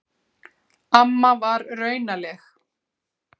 Amma var raunaleg.